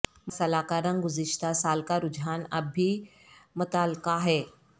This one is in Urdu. مرسلا کا رنگ گزشتہ سال کا رجحان اب بھی متعلقہ ہے